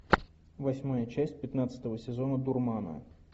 восьмая часть пятнадцатого сезона дурмана